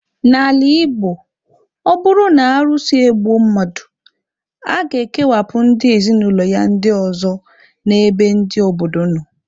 N'ala Igbo, ọ bụrụ na arụsị egbuo mmadụ, a ga-ekewapụ ndị ezinụlọ ya ndị ọzọ n' ebe ndị obodo nọ